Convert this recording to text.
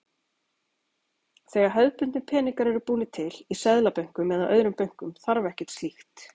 Þegar hefðbundnir peningar eru búnir til, í seðlabönkum eða öðrum bönkum, þarf ekkert slíkt.